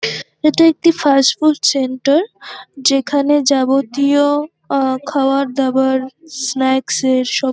এটা একটি fast food centre যেখানে যাবতীয় আ খাবার দাবার স্ন্যাক্স -এর সব--